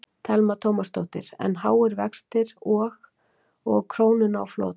Telma Tómasdóttir: En háir, háir vextir og, og krónuna á flot?